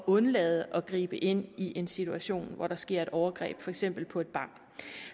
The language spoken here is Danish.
undlade at gribe ind i en situation hvor der sker et overgreb for eksempel på et barn